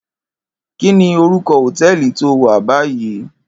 Kini órúkò hótèlí tó wá bàyí?